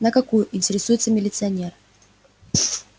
на какую интересуется милиционер